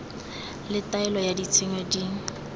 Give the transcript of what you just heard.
le taelo ya tshenyo di